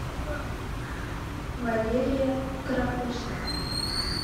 валерия крапусова